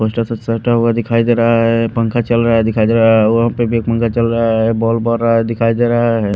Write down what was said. कोणसा तो शर्ट दिखाई दे रहा हैं पंखा चल रहा हैं दिखाई दे रहा हैं वहाँ पे एक और पंखा चल रहा है बॉल भर रहा हैं दिखाई दे रहा हैं।